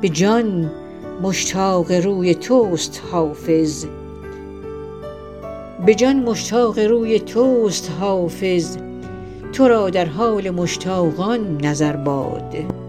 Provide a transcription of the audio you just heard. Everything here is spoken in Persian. به جان مشتاق روی توست حافظ تو را در حال مشتاقان نظر باد